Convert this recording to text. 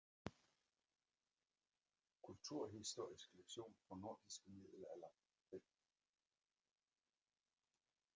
Kulturhistorisk leksikon for nordisk middelalder V